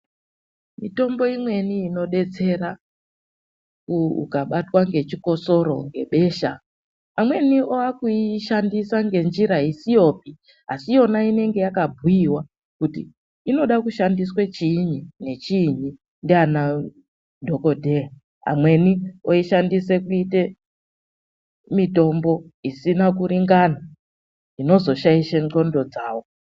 Mitombo imweni inodetsera ukabatwa ngechikosoro; ngebesha, amweni aakuishandisa ngenjira isiyopi. Asi yona inonga yakabhuiwa, kuti inoda kushandiswe chiinyi nechiinyi ndiana Dhokodheya. Amweni oishandise kuite mitombo isina kuringana, zvinozoshaishe nxondo dzawo.